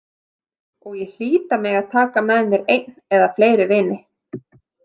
Og ég hlýt að mega taka með mér einn eða fleiri vini.